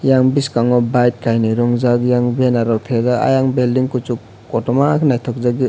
eyang biskango bike kainoi romjak eyang benner rok tepjak ayang belding kosok kotorma ke naitok jagoi.